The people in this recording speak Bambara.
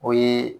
O ye